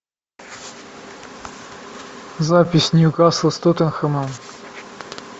запись ньюкасл с тоттенхэмом